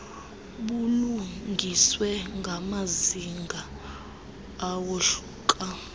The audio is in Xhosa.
bulungiswe ngamazinga awohluka